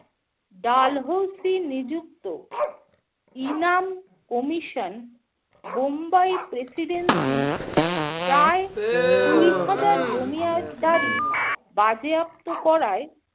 ডালহৌসি নিযুক্ত ইনাম commission Bombay presidency প্রায় কুড়ি হাজার জমি য়া~ দারি বাজেয়াপ্ত করায়